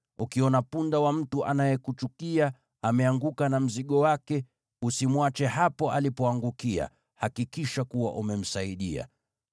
Ukiona punda wa mtu anayekuchukia ameanguka na mzigo wake, usimwache hapo alipoangukia; hakikisha kuwa umemsaidia.